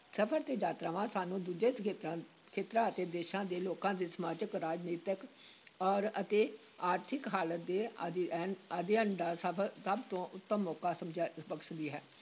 ਸਫ਼ਰ ਤੇ ਯਾਤਰਾਵਾਂ ਸਾਨੂੰ ਦੂਜੇ ਖੇਤਰਾਂ ਅਤੇ ਦੇਸ਼ਾਂ ਦੇ ਲੋਕਾਂ ਦੀ ਸਮਾਜਿਕ, ਰਾਜਨੀਤਿਕ ਔਰ ਅਤੇ ਆਰਥਿਕ ਹਾਲਤ ਦੇ ਅਧਿਐਨ ਅਧਿਐਨ ਦਾ ਸਭ ਸਭ ਤੋਂ ਉੱਤਮ ਮੌਕਾ ਸਮਝ ਬਖ਼ਸਦੀ ਹੈ।